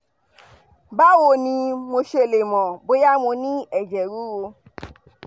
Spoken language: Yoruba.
báwo ni mo ṣe lè mọ̀ bóyá mo ní ẹ̀jẹ̀ ruru?